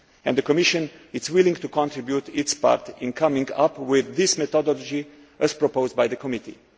The Commission is willing to contribute to coming up with this methodology, as proposed by the committee.